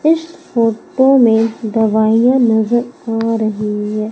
इस फोटो में दवाइयां नजर आ रही है।